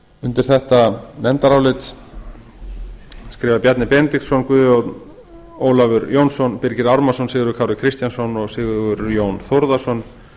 undir þetta nefndarálit skrifa bjarni benediktsson guðjón ólafur jónsson birgir ármannsson sigurður kári kristjánsson og sigurjón þórðarson